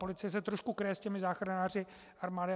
Policie se trošku kryje s těmi záchranáři armády.